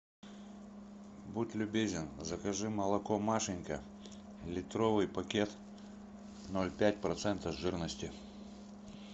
будь любезен закажи молоко машенька литровый пакет ноль пять процентов жирности